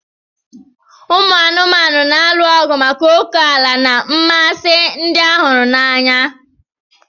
Ụmụ anụmanụ na-alụ ọgụ maka ókèala na ịmasị ndị a huru n'anya.